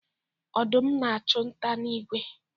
Odum a-achụ nta na igwe.